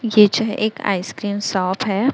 ये चाहे एक आइसक्रीम शॉप है।